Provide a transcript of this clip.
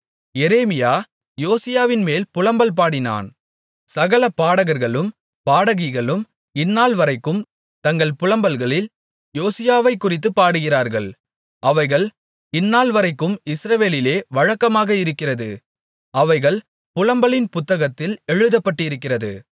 எரேமியா யோசியாவின்மேல் புலம்பல் பாடினான் சகல பாடகர்களும் பாடகிகளும் இந்நாள்வரைக்கும் தங்கள் புலம்பல்களில் யோசியாவைக்குறித்துப் பாடுகிறார்கள் அவைகள் இந்நாள்வரைக்கும் இஸ்ரவேலிலே வழக்கமாக இருக்கிறது அவைகள் புலம்பலின் புத்தகத்தில் எழுதப்பட்டிருக்கிறது